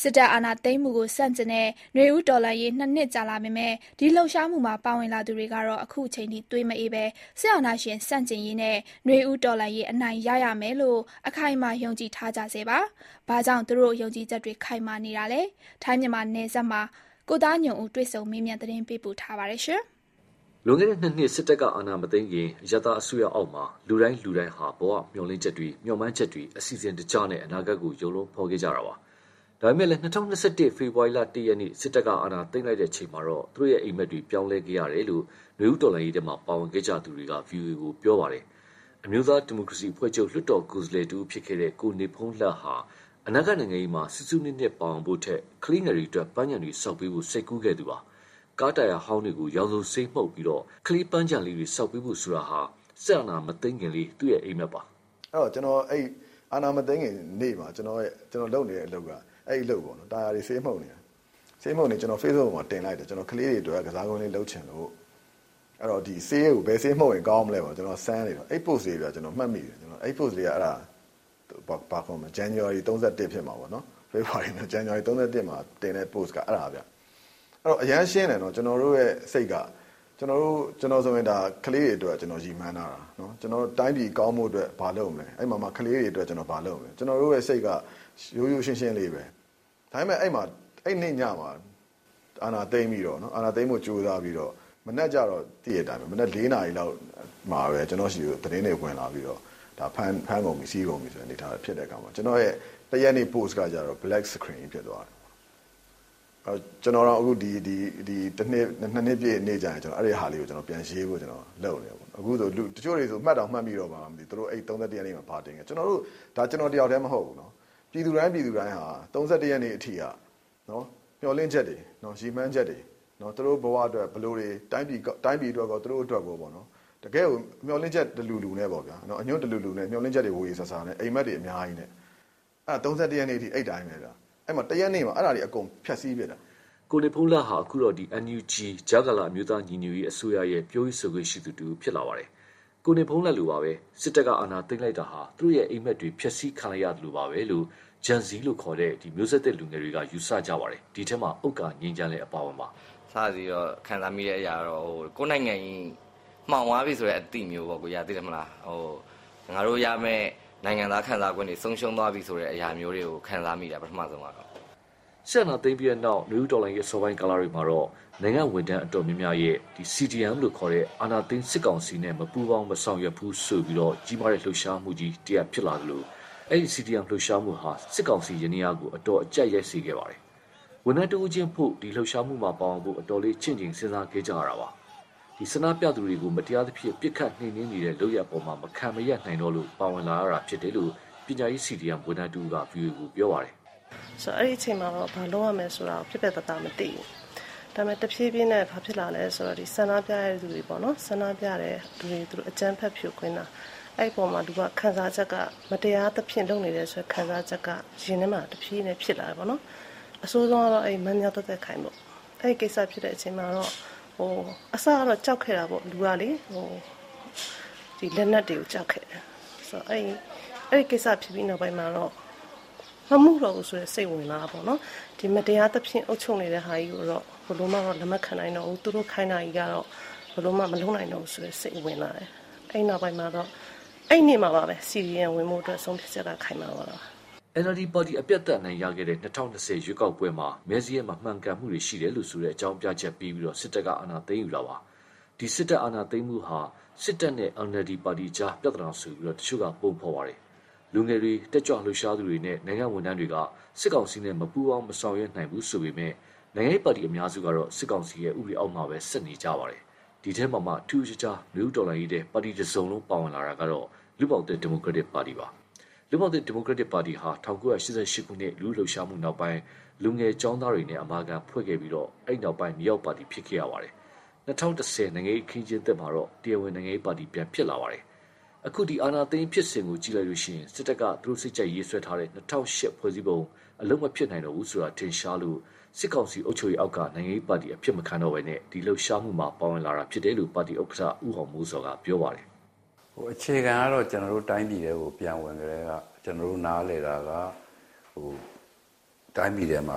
စစ်တပ်အာဏာသိမ်းမှုကိုဆန့်ကျင်တဲ့ နွေဦးတော်လှန်ရေး နှစ်နှစ်ကြာလာပေမယ့်၊ ဒီလှုပ်ရှားမှုမှာ ပါဝင်လာသူတွေကတော့ အခုအချိန်အထိ သွေးမအေးပဲ စစ်အာဏာရှင်ဆန့်ကျင်ရေးနဲ့ နွေဦးတော်လှန်ရေး အနိုင်ရရမယ်လို့ အခိုင်အမာယုံကြည်ထားကြဆဲပါ။ ဘာကြောင့် သူတို့ ယုံကြည်မှုတွေ ခိုင်မြဲနေတာလဲ၊ ထိုင်း-မြန်မာနယ်စပ်မှာ ကိုသားညွန့်ဦး တွေ့ဆုံမေးမြန်းသတင်းပေးပို့ထားပါတယ်။ လွန်ခဲ့တဲ့နှစ်နှစ် စစ်တပ်ကအာဏာမသိမ်းခင် အရပ်သားအစိုးရအောက်မှာ လူတိုင်းလူတိုင်းဟာ ဘဝမျှော်လင့်ချက်တွေ မျှော်မှန်းချက်တွေ အစီအစဉ်တကျနဲ့ အနာဂတ်ကို ရုပ်လုံးဖော်နေကြတာပါ။ ဒါပေမယ့် ၂၀၂၁ ဖေဖော်ဝါရီ ၁ရက် စစ်တပ်က အာဏာသိမ်းလိုက်ချိန်မှာတော့ သူတို့ရဲ့ အိပ်မက်တွေ ပြောင်းလဲခဲ့ရတယ်လို့ နွေဦးတော်လှန်ရေးထဲ ပါဝင်ခဲ့ကြသူတွေက VOA ကို ပြောကြပါတယ်။ အမျိုးသားဒီမိုကရေစီအဖွဲ့ချုပ် လွှတ်တော်ကိုယ်စားလှယ်တဦးဖြစ်တဲ့ ကိုနေဘုန်းလတ်ဟာ အနာဂတ် နိင်ငံရေးမှာ စူးစူးနစ်နစ်ပါဝင်ဖို့ထက်၊ ကလေးငယ်တွေအတွက် ပန်းခြံတွေဆောက်ပေးဖို့ စိတ်ကူးခဲ့သူပါ။ ကားတာယာဟောင်းတွေကို ရောင်စုံဆေးမှုတ်ပြီး ကလေးပန်းခြံလေးတွေဆောက်ပေးဖို့ဆိုတာဟာ စစ်အာဏာမသိမ်းခင်လေး သူ့အိပ်မက်ပါ။ "အာဏာမသိမ်းခင်နေ့မှာ ကျနော်လုပ်နေတဲ့အလုပ်က အဲဒီအလုပ်ပေါ့ တာယာတွေ ဆေးမှုတ်နေတာ၊ ဖေ့ဘုတ်ပေါ် တင်လိုက်တယ်။ ကလေးတွေအတွက် ကျနော် ကစားကွင်းလေး လုပ်ချင်လို့ ဘယ်ဆေးမှုတ်ရင်ကောင်းမလဲလို့ ကျနော်စမ်းနေလို့၊ အဲဒီ ပိုစ်လေးပေါ့ ကျနော်မှတ်မိနေတာ။ အဲဒီပို့စ်က ဇန်နဝါရီ ၃၁ ဖြစ်မှာပေါ့။ အဲတော့ ကျနော်တို့စိတ်က အရမ်းရှင်းတယ်။ ကျနော်ဆိုရင် ကလေးတွေအတွက် ရည်မှန်းထားတာ။ တိုင်းပြည်ကောင်းဖို့အတွက် ဘာလုပ်မလဲ၊ ကလေးတွေအတွက် ဘာလုပ်မလဲ။ ကျနော်တို့စိတ်က ရိုးရိုးရှင်းရှင်းလေးပဲ။ ဒါပေမယ့် အဲဒီ့နေ့ညမှာ အာဏာသိမ်းဖို့ကြိုးစားပြီး မနက် ၄ နာရီလောက်မှာ ကျနော့်ဆီကို သတင်းတွေဝင်လာတယ်။ အဲဒီမှာ ဖမ်းတယ်ဆီးတယ်ဖြစ်တော့ ကျနော့်ရဲ့ ၁ရက်နေ့ ပိုစ်က black screen ဖြစ်သွားတယ်။ ၂ နှစ်ပြည့်နေ့ကျရင် အဲဒါလေးကိုပြန်ရေးမလို့လုပ်နေတယ်။ တချို့ဆို မှတ်တောင်မှတ်မိပါတော့မလား ၃၁ရက်နေ့မှာ ဘာတင်ခဲ့လဲဆိုတာ။ ဒါ ကျနော်တယောက်တည်းမဟုတ်ဘူး၊ ပြည်သူတိုင်း ပြည်သူတိုင်းဟာ ၃၁ရက်နေ့အထိက မျှော်လင့်ချက်တွေ၊ရည်မှန်းချက်တွေ သူတို့ဘဝအတွက်၊ တိုင်းပြည်အတွက်ရောသူတို့အတွက်ရောပေါ့ တကယ့်ကို မျှော်လင့်ချက်တလူလူ အညွှန့်တလူလူနဲ့ မျှော်လင့်ချက်တွေ ဝေဝေဆာဆာနဲ့ အိပ်မက်တွေအများကြီးနဲ့၊ ၃၁ ရက်နေ့အထိ အဲဒီ့အတိုင်းပဲဗျ။ ၁ရက်နေ့မှာ အဲဒါတွေ အကုန်ဖျက်ဆီးပစ်တာ" ကိုနေဘုန်းလတ်ဟာ အခုတော့ NUG ကြားကာလ အမျိုးသားညီညွတ်ရေးအစိုးရရဲ့ ပြောခွင့်ဆိုခွင့်ရှိသူတဦးဖြစ်လာပါတယ်။ ကိုနေဘုန်းလတ်လိုပါပဲ၊ စစ်တပ်က အာဏာသိမ်းလိုက်တာဟာ သူတို့ရဲ့ အိပ်မက်တွေ ဖျက်ဆီးခံလိုက်ရသလိုပါပဲလို့ Gen Z လို့ ခေါ်ကြတဲ့ မျိုးဆက်သစ်လူငယ်တွေက ယူဆကြပါတယ်။ ဒီအထဲ ဥက္ကာချမ်းငြိမ်းလည်း အပါအဝင်ပါ။ "စပြီးခံစားမိတဲ့အရာကတော့ ကိုယ့်နိုင်ငံကြီး မှောင်သွားပြီဆိုတဲ့ အသိမျိုးပေါ့ ကိုကြီးရာ၊ ငါတို့ရမယ့် နိုင်ငံသားအခွင့်အရေးတွေ ဆုံးရှုံးသွားပြီဆိုတာ ခံစားမိတယ် ပထမဆုံးကတော့" စစ်အာဏာသိမ်းပြီးနောက် နွေဦးတော်လှန်ရေးအစောပိုင်းကာလတွေမှာတော့ နိုင်ငံဝန်ထမ်းအတော်များများရဲ့ CDM လို့ ခေါ်တဲ့ အာဏာသိမ်းစစ်ကောင်စီနဲ့ မပူးပေါင်းမဆောင်ရွက်ဘူး ဆိုပြီး ကြီးမားတဲ့လှုပ်ရှားမှုကြီးဖြစ်လာသလို၊ အဲဒီ လှုပ်ရှားမှုဟာ စစ်ကောင်စီယန္တယားကို အတော်အကြပ်ရိုက်စေခဲ့ပါတယ်။ ဝန်ထမ်းတဦးချင်းအဖို့ ဒီလှုပ်ရှားမှုပါဝင်ဖို့ အတော်လေး ချင့်ချိန်စဉ်းစားခဲ့ကြရတာပါ။ ဆန္ဒပြသူတွေကို မတရားသဖြင့် ပစ်ခတ်နှိမ်နင်းနေတဲ့လုပ်ရပ်အပေါ် မခံမရပ်နိုင်တော့လို့ ပါဝင်လာရတာလို့ ပညာရေး CDM ဝန်ထမ်းတဦးက VOA ကို ပြောပါတယ်။ "အဲဒီအချိန်မှာ ဘာလုပ်ရမယ်ဆိုတာ ပြတ်ပြတ်သားသားမသိဘူး။ ဒါပေမယ့် ဆန္ဒပြသူတွေကိုအကြမ်းဖက်ဖြိုခွင်းတာ၊ အဲဒီမှာ မတရားသဖြင့် လုပ်နေတာဆိုတဲ့ ခံစားချက်က ရင်ထဲမှာဖြစ်လာတာ။ အဆိုးဆုံးကတော့ မမြသွယ်သွယ်ခိုင်ကိစ္စပေါ့။ အစကတော့ လူက ကြောက်ခဲ့တာပေါ့။ လက်နက်တွေကို ကြောက်ခဲ့တယ်။ အဲဒီ့ကိစ္စဖြစ်ပြီးနောက်မှာတော့ မမှုတော့ဘူးဆိုတဲ့ စိတ်ဝင်သွားတာပေါ့။ မတရားသဖြင့် အုပ်ချုပ်နေတာကြီးကိုတော့ ဘယ်လိုမှ လက်မခံနိုင်တော့ဘူး၊ သူတို့ခိုင်းတာ ဘယ်လိုမှ မလုပ်နိုင်တော့ဘူးဆိုတဲ့ စိတ်ဝင်လာတယ်။ အဲဒီ့နေမှာပါပဲ CDM ဝင်ဖို့အတွက် ဆုံးဖြတ်ချက်က ခိုင်မာသွားတာ။" NLD ပါတီ အပြတ်အသတ်အနိုင်ရခဲ့တဲ့ ၂၀၂၀ ရွေးကောက်ပွဲမှာ မဲစာရင်းမမှန်ကန်မှုတွေရှိတယ်လို့ဆိုတဲ့ အကြောင်းပြချက်ပေးပြီး စစ်တပ်က အာဏာသိမ်းယူပါတယ်။ ဒီ စစ်တပ်အာဏာသိမ်းမှုဟာ စစ်တပ်နဲ့ NLD ပါတီအကြား ပြဿနာဆိုပြီး တချို့က ပုံဖော်ပါတယ်။ လူငယ်တွေ တတ်ကြွလှုပ်ရှားသူတွေနဲ့ နိုင်ငံဝန်ထမ်းတွေက စစ်ကောင်စီနဲ့မပူးပေါင်းမဆောင်ရွက်နိုင်ဘူးဆိုပေမယ့်၊ နိုင်ငံရေးပါတီအများစုဟာ စစ်ကောင်စီရဲ့ ဥပဒေအောက်မှာပဲ ဆက်ရပ်တည်နေကြပါတယ်။ ဒီထဲမှာမှ ထူးထူးခြားခြား နွေဦးတော်လှန်ရေးထဲ ပါတီတစုံလုံး ပါဝင်လာတာကတော့ လူ့ဘောင်သစ်ဒီမိုကရက်တစ်ပါတီပါ။ လူ့ဘောင်သစ်ဒီမိုကရက်တစ်ပါတီဟာ ၁၉၈၈ ခုနှစ် လူထုလှုပ်ရှားမှုနောက် လူငယ်ကျောင်းသားတွေနဲ့အမာခံ ဖွဲ့ခဲ့ပြီး အဲဒီနောက်မြေအောက်ပါတီဖြစ်ခဲ့ပါတယ်။ ၂၀၁၀ နိုင်ငံရေးအခင်းအကျင်းသစ်မှာတော့ တရားဝင်နိုင်ငံရေးပါတီပြန်ဖြစ်လာပါတယ်။ အခု အာဏာသိမ်းဖြစ်စဉ်ကိုကြည့်လိုက်ရင် စစ်တပ်က စိတ်ကြိုက်ဆွဲထားတဲ့ ၂၀၀၈ ဖွဲ့စည်းပုံ အလုပ်မဖြစ်နိုင်တော့ဘူးဆိုတာထင်ရှားလို့ စစ်ကောင်စီအုပ်ချုပ်ရေးအောက်က နိုင်ငံရေးပါတီအဖြစ်မခံပဲ၊ ဒီလှုပ်ရှားမှုမှာ ပါဝင်လာတာလို့ ပါတီဥက္ကဌ ဦးအောင်မိုးဇော်က ပြောပါတယ်။ "အခြေခံကတော့ တိုင်းပြည်ထဲကို ပြန်ဝင်ကတည်းက ကျနော်တို့နားလည်တာက တိုင်းပြည်ထဲမှာ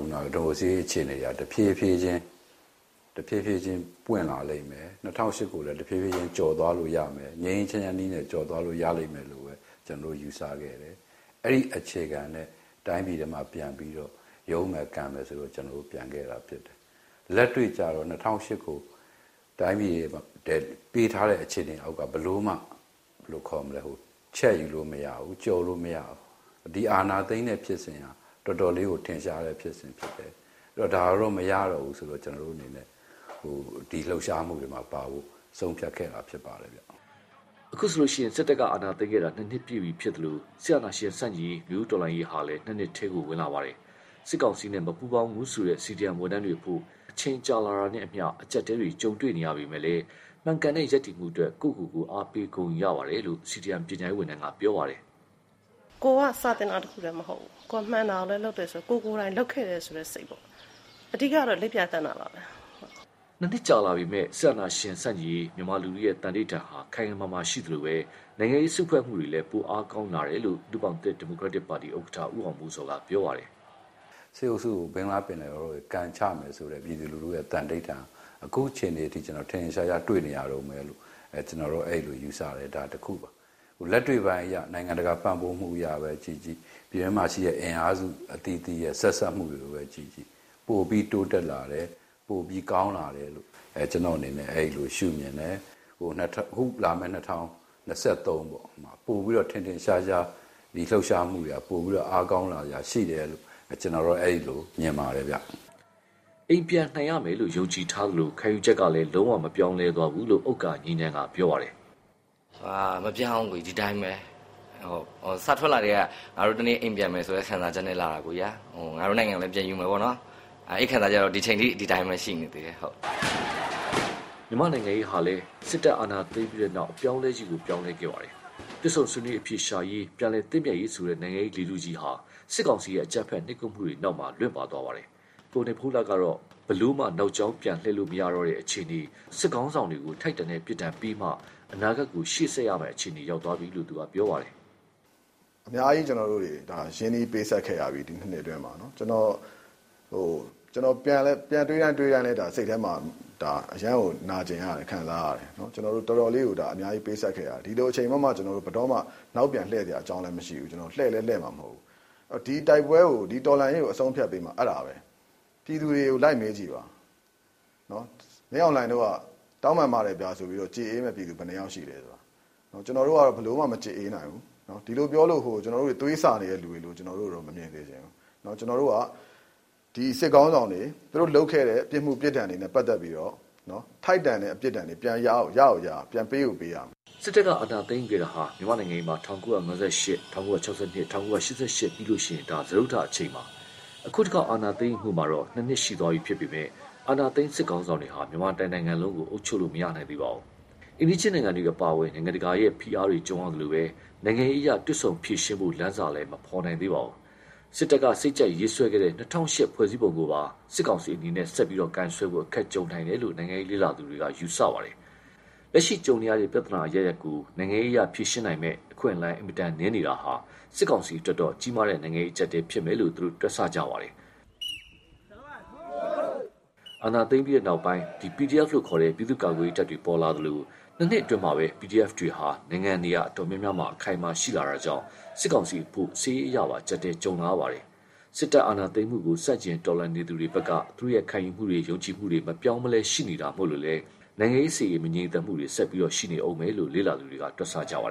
ဒီမိုကရေစီရေးအခြေခံက တဖြေးဖြေးချင်းပွင့်လာလိမ့်မယ်၊ ၂၀၀၈ ကိုလည်း တဖြေးဖြေးချင်း ငြိမ်းငြိမ်းချမ်းချမ်းနည်းနဲ့ ကျော်သွားလို့ရလိမ့်မယ်လို့ ကျနော်တို့ ယူဆခဲ့တယ်။ အဲဒီ့အခြေခံနဲ့ တိုင်းပြည်ထဲပြန်ပြီး ရုန်းကန်မယ်ဆိုပြီး ကျနော်တို့ ပြန်ခဲ့တာဖြစ်တယ်။ လက်တွေ့ကျတော့ ပေးထားတဲ့အခြေအနေအောက်မှာ ဘယ်လိုမှ ၂၀၀၈ ကိုချဲ့ယူလို့မရဘူး၊ ကျော်လို့မရဘူး။ ဒီအာဏာသိမ်းတဲ့ဖြစ်စဉ်က တော်တော်ထင်ရှားတဲ့ဖြစ်စဉ်ဖြစ်တယ်။ ဒါတော့ မရတော့ဘူးဆိုပြီးတော့ ကျနော်တို့အနေနဲ့ ဒီလှုပ်ရှားမှုမှာပါဖို့ ဆုံးဖြတ်ခဲ့တာဖြစ်တယ်" အခုဆိုရင် စစ်တပ်က အာဏာသိမ်းခဲ့တာ နှစ်နှစ်ပြည့်ပြီဖြစ်သလို၊ စစ်အာဏာရှင်ဆန့်ကျင်ရေး နွေဦးတော်လှန်ရေးဟာလည်း နှစ်နှစ်ထဲဝင်လာပါပြီ။ စစ်ကောင်စီနဲ့ မပူးပေါင်းဘူးဆိုတဲ့ CDM ဝန်ထမ်းတွေအဖို့ အချိန်ကြာလာတာနဲ့အမျှ အကျပ်အတည်းတွေ ကြုံတွေ့နေရပေမယ့်လည်း၊ မှန်ကန်တဲ့ ရပ်တည်မှုအတွက် ကိုယ့်ကိုကိုယ် အားပေးဂုဏ်ယူရတယ်လို့ CDM ပညာရေးဝန်ထမ်းက ပြောပါတယ်။ "ကိုယ်က စာသင်တာတခုတည်းမဟုတ်ဘူး၊ ကိုယ်မှန်တာကိုလည်း လုပ်တယ်ဆို၊ ကိုယ်ကိုယ်တိုင်လုပ်ခဲ့တယ်ဆိုတဲ့ စိတ်ပေါ့၊ အဓိကကတော့ လိပ်ပြာသန့်တာပါပဲ" နှစ်နှစ်ကြာပေမယ့် စစ်အာဏာရှင်ဆန့်ကျင်ရေး မြန်မာလူထုရဲ့ သံဓိဌာန်ဟာ ခိုင်ခိုင်မာမာရှိနေသလို၊ နိုင်ငံရေး စုဖွဲ့မှုတွေလည်း ပိုအားကောင်းလာတယ်လို့ လူ့ဘောင်သစ်ဒီမိုကရက်တစ်ပါတီ ဥက္ကဌ ဦးအောင်မိုးဇော်က ပြောပါတယ်။ "စစ်အုပ်စုကို ဘင်္ဂလားပင်လယ်အော်ထဲ ကန်ချမယ်ဆိုတဲ့ ပြည်သူလူထုရဲ့ သံဓိဌာန် ခုချိန်အထိ ထင်ထင်ရှားရှားတွေ့နေရတုန်းပဲလို့ ကျနော်တို့ယူဆတယ်။ လက်တွေ့ပိုင်းအရ နိုင်ငံတကာပံ့ပိုးမှုအရပဲ ကြည့်ကြည့် ပြည်တွင်းမှာရှိတဲ့အင်အားစုအသီးသီးရဲ့ ဆက်စပ်မှုကိုပဲ ကြည့်ကြည့်၊ ပိုပြီးတိုးတက်လာတယ်၊ ပိုပြီး ကောင်းလာတယ်လို့ ကျနော်မြင်တယ်။ အခုလာမယ့် ၂၀၂၃ ပေါ့ ပိုပြီးတော့ ထင်ထင်ရှားရှား ဒီလှုပ်ရှားမှုတွေက ပိုပြီးအားကောင်းလာစရာရှိတယ်လို့ ကျနော်တော့ အဲဒီလိုမြင်ပါတယ်ဗျ" အိမ်ပြန်နိုင်ရမယ်လို့ ယုံကြည်ထားသလို၊ ခံယူချက်လည်း လုံးဝမပြောင်းလဲသွားဘူးလို့ ဥက္ကာချမ်းငြိမ်းက ပြောပါတယ်။ "မပြောင်းဘူးကိုကြီး ဒီတိုင်းပဲ၊ စထွက်လာကတည်းက ငါတို့ တနေ့အိမ်ပြန်မယ်ဆိုတဲ့ ခံစားချက်နဲ့လာတာ၊ ငါတို့နိုင်ငံကိုလည်း ပြန်ယူမယ်ပေါ့၊ အဲဒီ့ခံစားချက်က ဒီအချိန်အထိ ဒီတိုင်းရှိနေသေးတယ်" မြန်မာ့နိုင်ငံရေးဟာလည်း စစ်တပ်အာဏာသိမ်းပြီးနောက် အပြောင်းလဲကြီး ပြောင်းလဲခဲ့ပါတယ်။ တွေ့ဆုံဆွေးနွေးအဖြေရှာရေး ပြန်လည်သင့်မြတ်ရေးဆိုတဲ့ နိုင်ငံရေးလေထုကြီးဟာ စစ်ကောင်စီရဲ့အကြမ်းဖက်နှိပ်ကွပ်မှုတွေနောက် လွင့်ပါသွားပါတယ်။ ကိုနေဘုန်းလတ်ကတော့ ဘယ်လိုမှ နောက်ကြောင်းပြန်လှည့်လို့မရတော့တဲ့အခြေအနေ၊ စစ်ခေါင်းဆောင်တွေကို ထိုက်တန်တဲ့ပြစ်ဒဏ်ပေးမှ အနာဂတ်ကို ရှေ့ဆက်ရမယ့်အခြေအနေ ရောက်သွားပြီလို့ ပြောပါတယ်။ "အများကြီး ကျနော်တို့တတွေ ရင်းနှီးပေးဆပ်ခဲ့ရပြီးပြီ ဒီနှစ်နှစ်အတွင်းမှာ၊ ကျနော် ပြန်တွေးတိုင်း တွေးတိုင်းလည်း စိတ်ထဲမှာ အရမ်းကို နာကျင်ရတယ်၊ ခံစားရတယ်။ ကျနော်တို့ အများကြီးပေးဆပ်ခဲ့ရတယ်။ ဒီလိုအချိန်မှာ ဘယ်တော့မှ နောက်ပြန်လှည့်စရာအကြောင်းလည်းမရှိဘူး။ လှည့်လည်း လှည့်မှာမဟုတ်ဘူး။ ဒီတော်လှန်ရေးကို အဆုံးအဖြတ်ပေးမှာ အဲဒါပဲ ၊ ပြည်သူတွေကို လိုက်မေးကြည့်ပါ။ မင်းအောင်လှိုင်တို့က တောင်းပန်ပါတယ်ဆို ကြေအေးပေးမယ့်ပြည်သူဘယ်နှစ်ယောက်ရှိသလဲ၊ ကျနော်တို့ကတော့ ဘယ်လိုမှ မကြေအေးနိုင်ဘူး၊ ဒီလိုပြောလို့ ကျနော်တို့က သွေးဆာနေတဲ့လူတွေလို့ ကျနော်တို့ကို မမြင်စေချင်ဘူး။ ဒီစစ်ခေါင်းဆောင်တွေ သူတို့လုပ်ခဲ့တဲ့ပြစ်မှု ပြစ်ဒဏ်တွေနဲ့ပတ်သက်ပြီးတော့ ထိုက်တန်တဲ့အပြစ် ပြန်ပေးကိုပေးရမယ်။" စစ်တပ်က အာဏာသိမ်းယူခဲ့တာဟာ မြန်မာ့နိုင်ငံရေးမှာ ၁၉၅၈၊ ၁၉၆၂၊ ၁၉၈၈ ပြီးရင် ဒါဟာစတုတ္တအကြိမ်ပါ။ အခု တခေါက် အာဏာသိမ်းယူမှုမှာတော့ နှစ်နှစ်ရှိသွားပေမယ့်၊ အာဏာသိမ်းစစ်ခေါင်းဆောင်တွေဟာ မြန်မာတနိုင်ငံလုံးကို ပိုင်ပိုင်နိုင်နိုင် အုပ်ချုပ်လို့ မရသေးပါဘူး။ အိမ်နီးချင်းနိုင်ငံတွေအပါအဝင် နိုင်ငံတကာရဲ့ဖိအားတွေကြုံရသလို၊ နိုင်ငံရေးအရ တွေ့ဆုံဖြေရှင်းဖို့လမ်းစလည်း မဖော်နိုင်ပါဘူး။ စစ်တပ်ကစိတ်ကြိုက်ရေးဆွဲခဲ့တဲ့ ၂၀၀၈ ဖွဲ့စည်းပုံကိုပါ စစ်ကောင်စီအနေနဲ့ ဆက်လက်ကိုင်စွဲဖို့ အခက်ကြုံနိုင်တယ်လို့ နိုင်ငံရေးလေ့လာသူတွေ ယူဆပါတယ်။ လက်ရှိကြုံနေရတဲ့ ပြဿနာအရပ်ရပ်ကို နိုင်ငံရေးအရဖြေရှင်းနိုင်မယ့် အခွင့်အလမ်းအင်မတန်နည်းနေတာဟာ စစ်ကောင်စီအတွက်တော့ ကြီးမားတဲ့နိုင်ငံရေးအကျပ်အတည်းဖြစ်မယ်လို့ တွက်ဆကြပါတယ်။ အာဏာသိမ်းပြီးနောက် PDF လို့ခေါ်တဲ့ ပြည်သူ့ကာကွယ်ရေးတပ်တွေ ပေါ်လာသလို၊ နှစ်နှစ်အတွင်းမှာပဲ PDFs တွေဟာ နိုင်ငံနေရာအတော်များများမှာ အခိုင်အမာရှိလာတာကြောင့် စစ်ကောင်စီအဖို့ စစ်ရေးအရပါ အကျပ်အတည်းကြုံလာရပါတယ်။ စစ်တပ်အာဏာသိမ်းမှုကို ဆန့်ကျင်တော်လှန်နေသူတွေဖက်က သူတို့ခံယူမှုတွေ ယုံကြည်မှုတွေ မပြောင်းမလဲ ရှိနေတာမို့လည်း ၊ နိုင်ငံရေး စစ်ရေး မငြိမ်သက်မှုတွေ ဆက်ပြီး ရှိနေဦးမယ်လို့ လေ့လာသူတွေ တွက်ဆကြပါတယ်